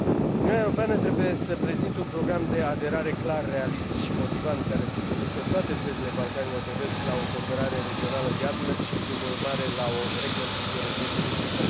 Uniunea Europeană trebuie să prezinte un program de aderare clar, realist și motivant, care să conducă toate țările Balcanilor de Vest la o cooperare regională viabilă și, prin urmare, la o reconciliere definitivă.